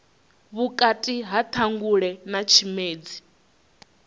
vhukati ha ṱhangule na tshimedzi